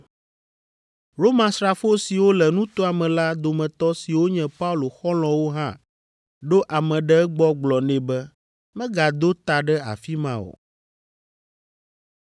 Romasrafo siwo le nutoa me la dometɔ siwo nye Paulo xɔlɔ̃wo hã ɖo ame ɖe egbɔ gblɔ nɛ be megado ta ɖe afi ma o.